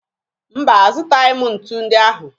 Mba, azụtaghị m ntu ndị ahụ